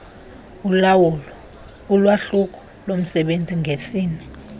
ulwahlulo lomsebenzi ngesini